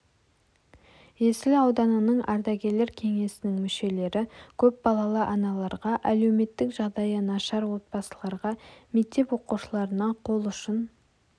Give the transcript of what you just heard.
есіл ауданының ардагерлер кеңесінің мүшелері көпбалалы аналарға әлеуметтік жағдайы нашар отбасыларға мектеп оқушыларына қол ұшын